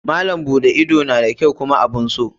Malam buɗe ido na da kyau kuma abun so.